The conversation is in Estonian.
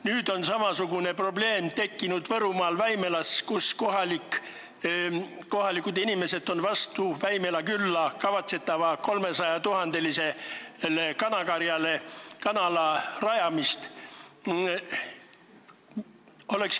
Nüüd on samasugune probleem tekkinud Võrumaal Väimelas, kus kohalikud inimesed on vastu Väimela külla 300 000-lisele kanakarjale kanala rajamisele.